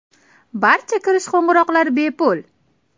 Barcha kirish qo‘ng‘iroqlar bepul.